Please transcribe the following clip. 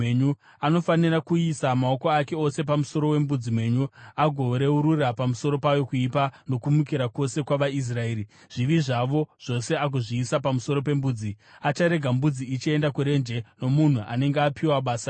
Anofanira kuisa maoko ake ose pamusoro wembudzi mhenyu agoreurura pamusoro payo kuipa nokumukira kwose kwavaIsraeri, zvivi zvavo zvose agozviisa pamusoro pembudzi. Acharega mbudzi ichienda kurenje nomunhu anenge apiwa basa iroro.